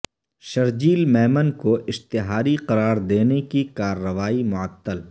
شرجیل میمن کو اشتہاری قرار دینے کی کارروائی معطل